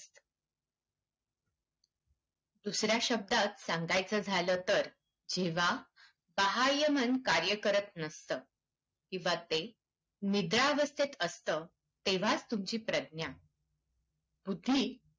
दुसऱ्या शब्दात सांगायचं झालं, तर जेव्हा बाह्यमन कार्य करत नसतं किंवा ते निद्रावस्थेत असतं, तेव्हाचं तुमची प्रज्ञा बुद्धी